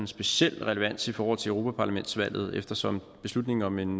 speciel relevans i forhold til europaparlamentsvalget eftersom beslutning om en